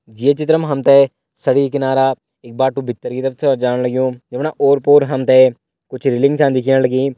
ये चित्र मा हम तें सड़की किनारा एक बाट्टू भीतर की तरफ च जाण लग्युं जफणा ओर पोर हम तें कुछ रेलिंग छा दिखेण लगीं।